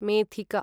मेथिका